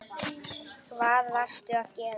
Hvað varstu að gera þar?